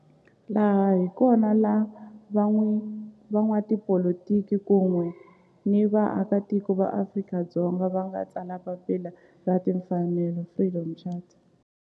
Laha hi kona la van'watipolitiki kun'we ni vaaka tiko va Afrika-Dzonga va nga tsala papila ra timfanelo, Freedom Charter.